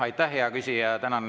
Aitäh, hea küsija!